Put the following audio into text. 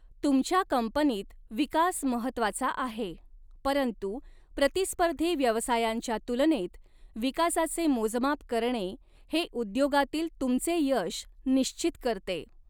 तुमच्या कंपनीत विकास महत्त्वाचा आहे, परंतु प्रतिस्पर्धी व्यवसायांच्या तुलनेत विकासाचे मोजमाप करणे हे उद्योगातील तुमचे यश निश्चित करते.